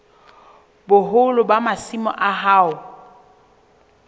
boholo ba masimo a hao